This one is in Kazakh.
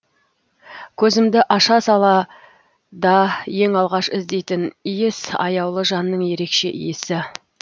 көзімді аша сала да ең алғаш іздейтін иіс аяулы жанның ерекше иісі